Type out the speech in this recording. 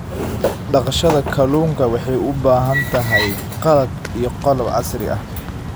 Dhaqashada kalluunka waxay u baahan tahay qalab iyo qalab casri ah.